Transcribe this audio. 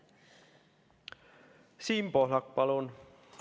Siim Pohlak, palun!